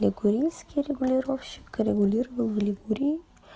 лигурийский регулировщик регулировал в лигурии